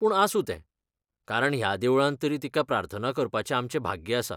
पूण आसूं तें, कारण ह्या देवळांत तरी तिका प्रार्थना करपाचें आमचें भाग्य आसा.